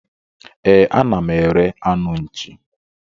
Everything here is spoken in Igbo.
E, a na m ere anụ nchi.